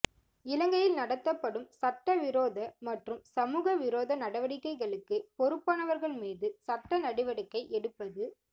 இலங்கையில் நடத்தப்படும் சட்டவிரோத மற்றும் சமூக விரோத நடவடிக்கைகளுக்கு பொறுப்பானவர்கள் மீது சட்ட நடவடிக்கை எடுப்பது